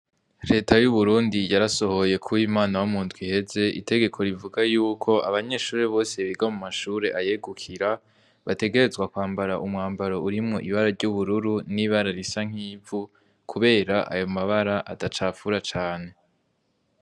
Leta y'uburundi yarasohoye kuba imana w'umuntwiheze itegeko rivuga yuko abanyeshure bose biga mu mashure ayegukira bategerezwa kwambara umwambaro urimwo ibara ry'ubururu n'ibararisa nk'ivu, kubera ayo mabara adacapfura cane.